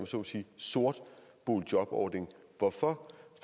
så må sige sort boligjobordning hvorfor